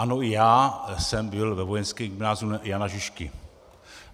Ano, i já jsem byl ve Vojenském gymnáziu Jana Žižky.